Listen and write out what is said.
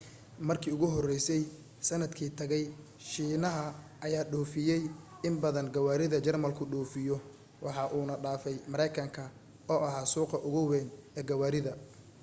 markii ugu horeysay sanadkii tagay shiinaha ayaa dhoofiyay in badan gawaarida jarmalku dhoofiyo waxa uuna dhaafay mareykanka oo ahaa suuqa ugu weyn ee gawaarida